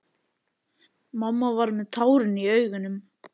Mamma var með tárin í augunum.